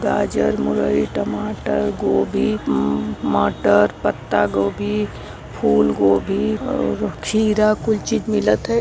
गाजर मुरई टमाटर गोभी मटर पत्तागोभी फूलगोभी और खीरा कुल चीज मिलत है।